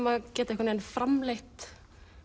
að geta framleitt